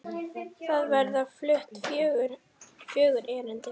Þar verða flutt fjögur erindi.